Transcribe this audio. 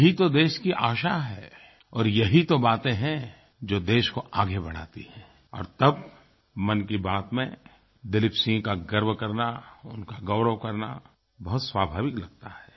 यही तो देश की आशा है और यही तो बातें हैं जो देश को आगे बढ़ाती हैं और तब मन की बात में दिलीप सिंह का गर्व करना उनका गौरव करना बहुत स्वाभाविक लगता है